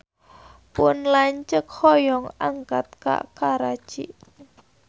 Pun lanceuk hoyong angkat ka Karachi